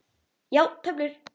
Já, töflur.